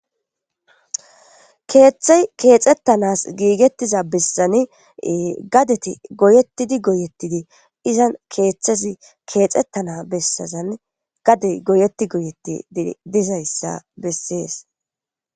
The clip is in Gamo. Keeththey keexettanas giigettiza bessani gadeti goyettidi goyettidi izan keeththesi keexettana bessazan gadey goyeetti goyeetti dizayssa bessees.